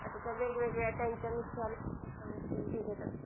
आता त्या वेगवेगळ्या त्याच्या नुसार व्याज देतात